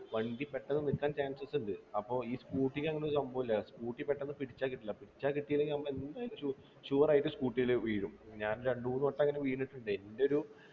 വണ്ടി പെട്ടെന്ന് നിൽക്കാൻ chance ണ്ട് അപ്പോ ഈ scooter അങ്ങനെ ഒരു സംഭവം ഇല്ല scooter പെട്ടെന്ന് പിടിച്ചാ കിട്ടില്ല പിടിച്ചാ കിട്ടിയില്ല നമ്മൾ എന്തായാലും ഷു sure ആയിട്ട് scooter ൽ വീഴും ഞാൻ രണ്ടുമൂന്നു വട്ടം അങ്ങനെ വീണിട്ടുണ്ട് എൻ്റെ ഒരു